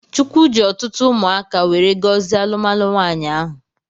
Chukwu ji ọtụtụ umụaka weree gozie alụmalụ nwanyi ahụ.